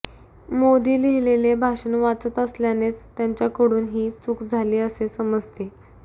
मोदी लिहिलेले भाषण वाचत असल्यानेच त्यांच्याकडून ही चूक झाली असे समजते